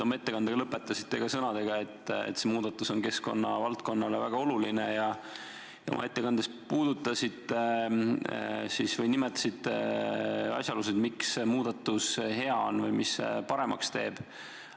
Oma ettekande te lõpetasite sõnadega, et see muudatus on keskkonna valdkonnale väga oluline, ja nimetasite ka asjaolusid, miks see muudatus on hea, mida see paremaks teeb.